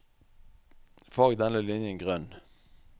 Farg denne linjen grønn